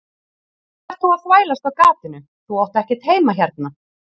Hvað ert þú að þvælast á gatinu, þú átt ekkert heima hérna.